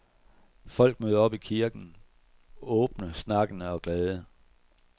Folk møder op i kirken åbne, snakkende og glade.